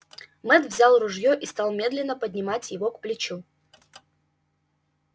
мэтт взял ружье и стал медленно поднимать его к плечу